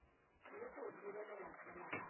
le go lebelela fela a